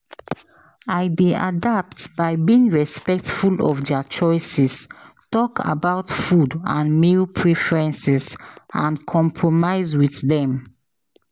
i dey adapt by being respectful of dia choices, talk about food and meal preferences and compromise with dem.